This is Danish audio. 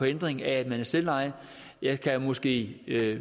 ændring af at man er selvejet jeg kan måske